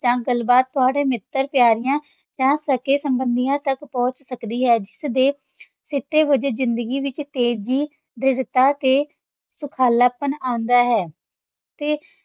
ਜਾਂ ਗੱਲਬਾਤ ਤੁਹਾਡੇ ਮਿੱਤਰ-ਪਿਆਰਿਆਂ ਜਾਂ ਸਕੇ-ਸਬੰਧੀਆਂ ਤੱਕ ਪਹੁੰਚ ਸਕਦੀ ਹੈ, ਜਿਸ ਦੇ ਸਿੱਟੇ ਵਜੋਂ ਜ਼ਿੰਦਗੀ ਵਿੱਚ ਤੇਜ਼ੀ, ਦ੍ਰਿੜ੍ਹਤਾ ਤੇ ਸੁਖਾਲਾਪਣ ਆਉਂਦਾ ਹੈ ਤੇ